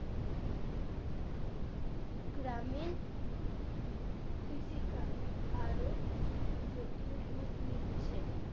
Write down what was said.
গ্রামীণ কৃষিকাজ আরো জটিল রূপ নিচ্ছে